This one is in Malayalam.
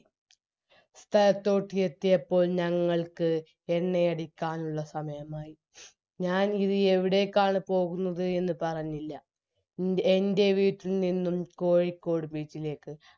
സ്ഥലത്തോട്ട് എത്തിയപ്പോൾ ഞങ്ങള്ക് എണ്ണയാടിക്കാനുള്ള സമയമായി ഞാന് ഇത് എവിടേക്കാണ് പോകുന്നത് എന്ന് പറഞ്ഞില്ല ഇ എൻറെ വീട്ടിൽ നിന്നും കോഴിക്കോട് beach ലേക്ക്